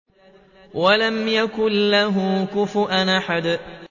وَلَمْ يَكُن لَّهُ كُفُوًا أَحَدٌ